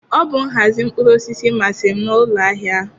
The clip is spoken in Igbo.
Ọ bụ nhazi mkpụrụ osisi masịrị m n'ụlọ ahịa ahụ.